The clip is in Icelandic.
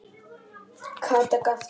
Kata gapti.